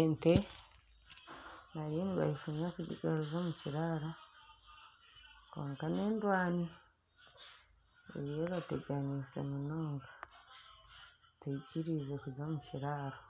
Ente bariyo nibagifunya kugigaruza omu kiraaro kwonka n'endwani eriyo ebateganiise munonga teyikiriize kuza omu kiraaro